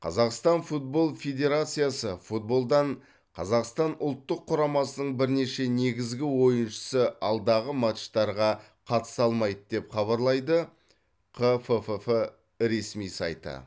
қазақстан футбол федерациясы футболдан қазақстан ұлттық құрамасының бірнеше негізгі ойыншысы алдағы матчтарға қатыса алмайды деп хабарлайды қффф ресми сайты